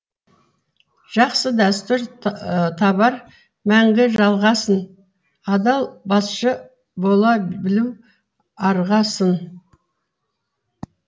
жақсы дәстүр табар мәңгі жалғасын адал басшы бола білу арға сын